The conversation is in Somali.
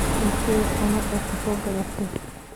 Intey cunada kasogatey.